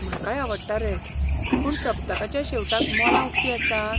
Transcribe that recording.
म्हाकाय आवडटा रे, पूण सप्तकाच्या शेवटाक मॉलां उक्तीं आसतात?